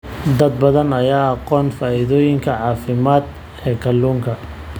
Dad badan ayaan aqoon faa'iidooyinka caafimaad ee kalluunka.